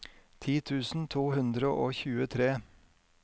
ti tusen to hundre og tjuetre